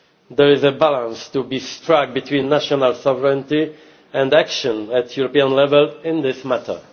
There is a balance to be struck between national sovereignty and action at European level in this matter.